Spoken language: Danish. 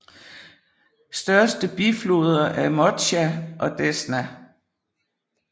Største bifloder er Motsja og Desna